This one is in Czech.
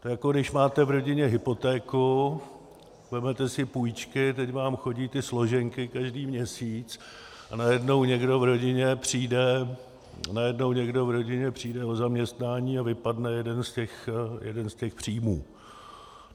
To je, jako když máte v rodině hypotéku, vezmete si půjčky, teď vám chodí ty složenky každý měsíc, a najednou někdo v rodině přijde o zaměstnání a vypadne jeden z těch příjmů.